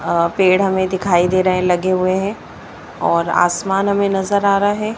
अह पेड़ हमें दिखाई दे रहे हैं लगे हुए हैं और आसमान हमें नजर आ रहा है।